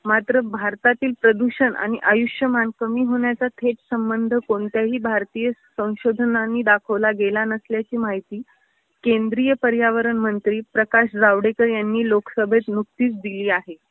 मात्र भारतातील प्रदूषण आणि आयुष्यमान कमी होण्याचा थेट संबंध कोणत्याही भारतीय संशोधनांनी दाखवला गेला नसल्याची माहिती केंद्रीय पर्यावरण मंत्री प्रकाश जावडेकर यांनी लोकसभेत नुकतीच दिली आहे.